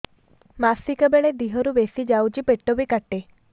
ମାସିକା ବେଳେ ଦିହରୁ ବେଶି ଯାଉଛି ପେଟ ବି କାଟେ